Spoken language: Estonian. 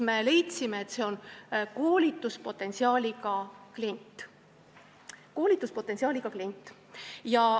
Me leidsime, et see on koolituspotentsiaaliga klient.